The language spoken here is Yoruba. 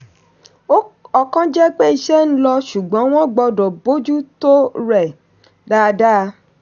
ọ̀kan jẹ́ pé iṣẹ́ ń lọ ṣùgbọ́n wọ́n gbọ́dọ̀ bójú tó rẹ̀ dáadáa.